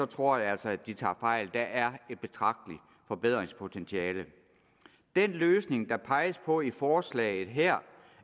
tror jeg altså at de tager fejl der er et betragteligt forbedringspotentiale den løsning der peges på i forslaget her